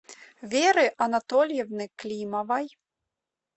веры анатольевны климовой